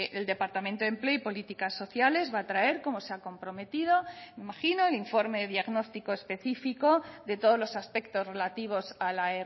el departamento de empleo y políticas sociales va a traer como se ha comprometido me imagino el informe diagnóstico específico de todos los aspectos relativos a la